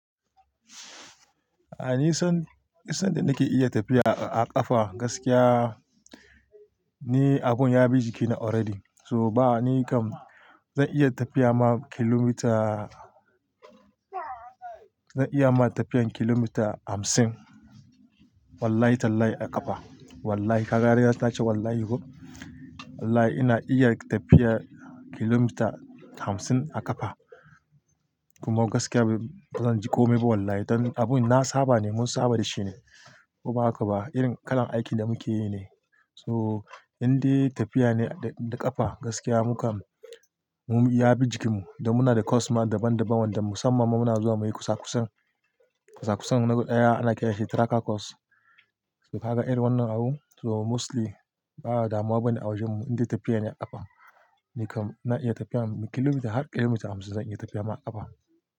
A'a ni son, san da nake iya tafiya a ƙafa gaskiya ne abun ya bi jikina already. So ba ni kam zan iya tafiya ma kilomita, zan iya ma tafiyan kilomita hamsin wallahi tallahi a ƙafa. Wallahi kaga riga ta ce wallahi huh. Wallahi ina iya tafiya kilomita hamsin a ƙafa. Kuma gaskiya bazan ji ƙomi ba wallahi. Don abun na saba ne mun saba da shi ne. Ko ba haka ba irin kalan aikin da muke yi ne. So indai tafiya ne da ƙafa gaskiya mu kam mun ya bi jikin mu da muna da course ma daban daban wanda musamman muna zuwa muyi kusa kusan. Kusa kusan na guda ɗaya ana kiranshi tracker course. Kaga irin wannan abun so mostly ba'a damuwa bane a wajen mu indai tafiya ne a ƙafa. Ni kam na iya tafiya kilomita har kilomita hamsin zan iya tafiya ma a ƙafa.